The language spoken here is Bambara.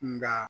Nga